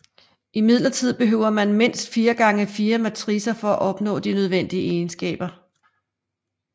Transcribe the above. Imidlertid behøver man mindst 4x4 matricer for at opnå de nødvendige egenskaber